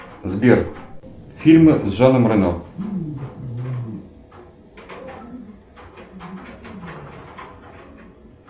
сбер фильмы с жаном рено